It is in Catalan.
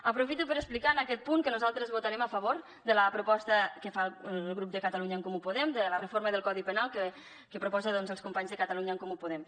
aprofito per explicar en aquest punt que nosaltres votarem a favor de la proposta que fa el grup de catalunya en comú podem de la reforma del codi penal que proposen els companys de catalunya en comú podem